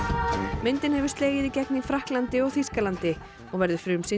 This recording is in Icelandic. myndin hefur slegið í gegn í Frakklandi og Þýskalandi og verður frumsýnd í